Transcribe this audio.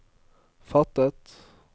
fattet